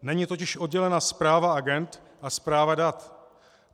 Není totiž oddělena správa agend a správa dat.